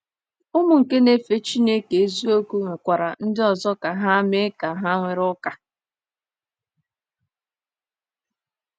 Ụmụ nke na-efe Chineke eziokwu nwekwara ndị ọzọ ka ha mee ka ha were ụka.